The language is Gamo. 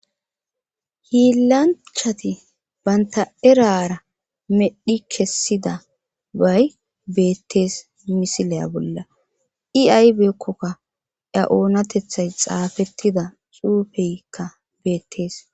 Hiilanchati banta erara medhi kessida bay beettees misilaya bolla iaybeekkokka ya oonatethay xaafettida xuufeykka beettees.